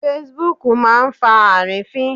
Facebook máa ń fa àrífín.